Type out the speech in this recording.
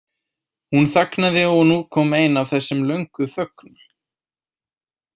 Hún þagnaði og nú kom ein af þessum löngu þögnum.